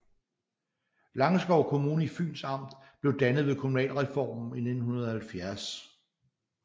Langeskov Kommune i Fyns Amt blev dannet ved kommunalreformen i 1970